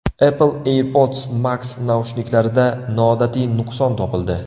Apple AirPods Max naushniklarida noodatiy nuqson topildi.